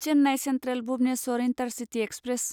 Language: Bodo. Chennai central Bhubaneswar intercity express